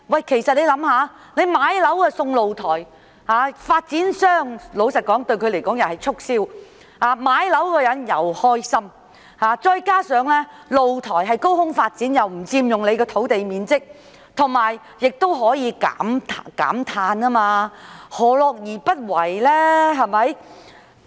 試想想，老實說，買樓送露台對發展商來說有助促銷，買樓的人亦會開心，再加上露台是高空發展，不佔用土地面積，亦可以減碳，何樂而不為？